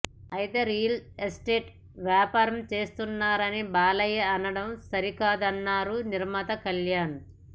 అయితే real estate వ్యాపారం చేస్తున్నారని బాలయ్య అనడం సరికాదన్నారు నిర్మాత కల్యాణ్